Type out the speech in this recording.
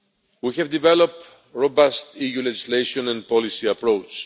We have developed a robust EU legislation and policy approach.